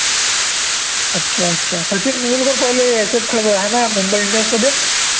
अच्छा अच्छा सचिन पहिले ह्याच्यात ना मुंबई इंडियन्स मध्ये